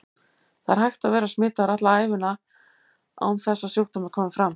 Það er hægt að vera smitaður alla ævina án þess að sjúkdómur komi fram.